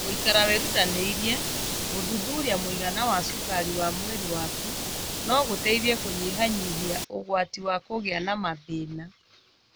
Gũikara wĩrutanĩirie gũthuthuria mũigana wa cukari wa mwĩrĩ waku no gũteithie kũnyihanyihia ũgwati wa kũgĩa na mathĩna.